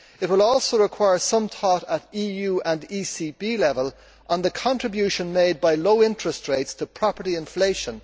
It will also require some thought at EU and ECB level on the contribution made by low interest rates to property inflation.